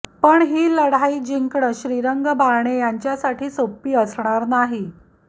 पण ही लढाई जिंकणं श्रीरंग बारणे यांच्यासाठी सोपी असणार नाही